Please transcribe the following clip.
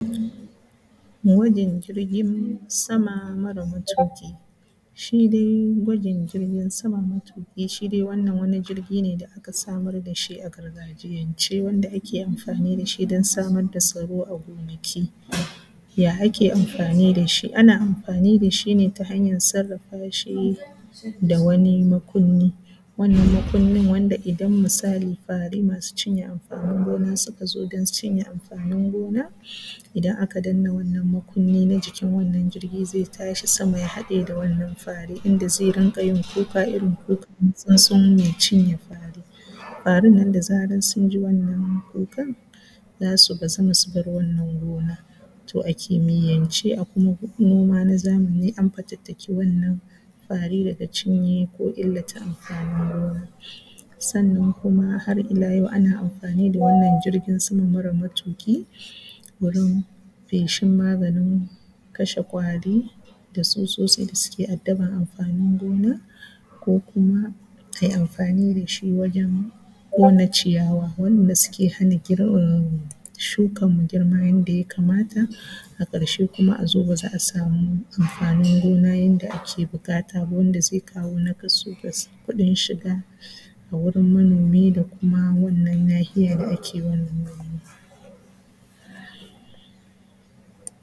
Gwajin jirgin sama mara matuƙi, shi dai gwajin jirgin sama matuƙi, shi dai wannan wani jirgi ne da aka samar da shi don samar da tsaro a gonaki. Ya ake amfani da shi? Ana amfani da shi ne ta hanyar sarrafa shi da wani makunni, wannan makunnin wanda idan misali fari, masu cinye amfanin gona suka zo don cinye amfanin gona... Idan aka danna wannan makunni na jikin wannan jirgir zai tashi sama ya haɗe da wannan fari inda zai dinga yin kuka irin kukan tsuntsu mai cinye fari. Farin nan da zarar sun ji wannan kukan za su bazama su bar wannan gona. To a kimiyyance akwai a kuma hukma na noma an fatattaki wannan fari daga cinye amfanin gona,. Sannan kuma har ila yau ana amfani da wannan jirgin sama mara matuƙi, wurin feshin maganin kasha ƙwari. Da tsutsosti da suke da suke addaban amfanin gona ko kuma kai amfani da shi wajen ƙona ciya wanda suke hana girma shukanmu girma yadda yakamata. A ƙarshe kuma a zo ba za a samu amfanin gona yadda ake buƙata ba, wanda zai kawo naƙasu ga kuɗin shiga. A wurin manomi da kuma nahiya da ake wannan noama.